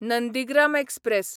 Nandigram express